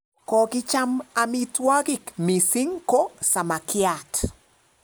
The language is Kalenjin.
Kokicham amitwog'ik mising ko samakiat